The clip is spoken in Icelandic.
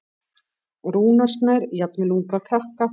Rúnar Snær: Jafnvel unga krakka?